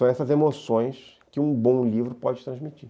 São essas emoções que um bom livro pode transmitir.